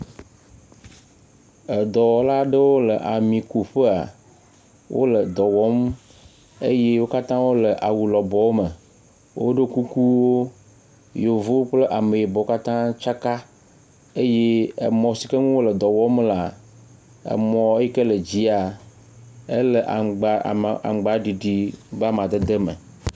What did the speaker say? Edɔwɔla aɖewo le amikuƒea, wole dɔ wɔm eye wo katã wole awu lɔbɔwo me. Woɖo kukuwo , Yevuwo kple Ameyibɔwo katã tsaka eye emɔ si ke ŋu wole dɔ wɔm lea, emɔ yi ke le dzia, ele aŋgba ama aŋgbaɖiɖi ƒe amadede me.